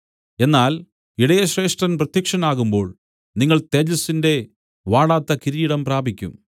എന്നാൽ ഇടയശ്രേഷ്ഠൻ പ്രത്യക്ഷനാകുമ്പോൾ നിങ്ങൾ തേജസ്സിന്റെ വാടാത്ത കിരീടം പ്രാപിക്കും